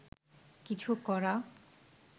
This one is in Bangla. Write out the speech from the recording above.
কিছু করা